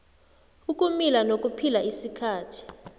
ukumila nokuphila isikhathi